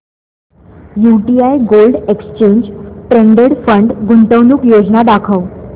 UTI gold exchange traded fund गुंतवणूक योजना दाखव